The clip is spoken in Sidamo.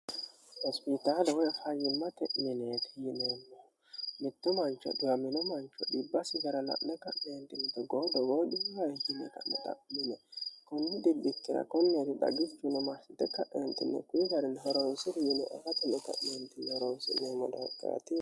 Hospitale woyi faayyimate mineti yineemmohu mitto mancho dhibbisi gara la'ne togo togo dhibbi noohe yine xa'mine ka'nentinni kuni xibbikkira koneti xaggichu yineentinni aate horonsi'neemmo doogati yaate.